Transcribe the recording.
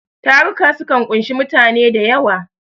Taruka sukan ƙunshi mutane da yawa.